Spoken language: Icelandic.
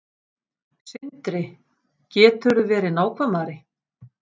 Sindri: Geturðu verið nákvæmari?